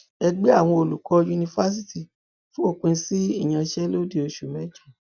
ẹgbẹ àwọn olùkọ yunifásitì fòpin sí ìyanṣẹlódì oṣù mẹjọ